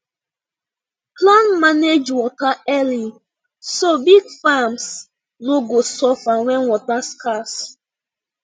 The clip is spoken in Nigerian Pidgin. plan manage water early so big farms no go suffer when water scarce